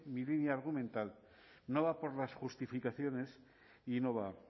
mi línea argumental no va por las justificaciones y no va